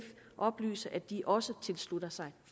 oplyse at de også tilslutter sig